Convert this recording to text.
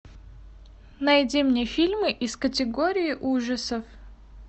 найди мне фильмы из категории ужасов